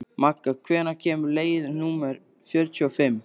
Magga, hvenær kemur leið númer fjörutíu og fimm?